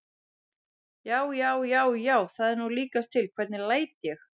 JÁ, JÁ, JÁ, JÁ, ÞAÐ ER NÚ LÍKAST TIL, HVERNIG LÆT ÉG!